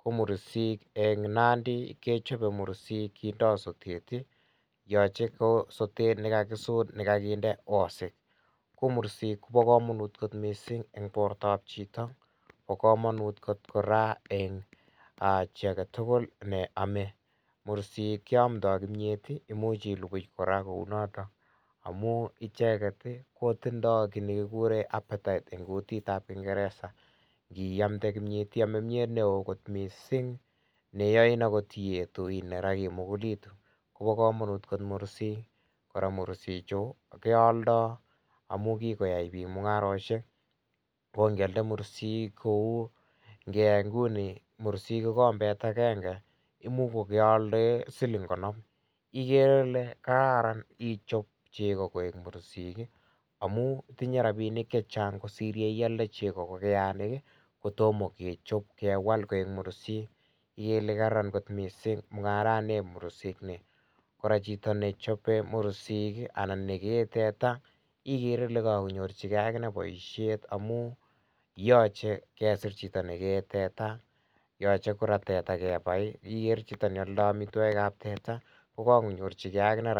ko mursik en nandii kechape mursiik kindaa sotet ii yachei ko sotet nekakisuur nekakinde wasek ko mursik Kobo kamanut koot missing en borto ab chitoo, bo kamanut koot kora en chii age tugul en chi age tugul neame, mursiik keyamdaa kimyeet ii imuuch iluguy kora kou notoon amuun ichegeet kutindai kiit nekikuren appetite eng kutit ab ingereza iyamde kimyeet iyamee kimyeet ne wooh missing neyai akoot iyetu agi mugulituu Kobo kamanut koot mursik, kora mursik chuu keyaldai amuun kikoyai biik mungaresiek ko ingeyaldaa mursiik ko nguni mursiik ko kombeet agenge imuuch kogealdaen siling konom igere Ile kararan ichaap chegoo koek mursik ii ,amuun tinyei rapinik che chaang kosiir ingiyalde chegoo ko keyaleen kotomah kechaap kewaal koek mursiik igere Ile kararan koot missing mungaran nieb mursik ,kora chitoo ne chape mursiik anan ne gei teta igere Ile kanyoorjigei aginei boisiet amuun yachei kesiir chitoo nekee tetaa yachei kora tetaa kora kebai ii igere chitoo ne yaldaa amitwagiik chebo teta ko Kako nyorjigei aginei.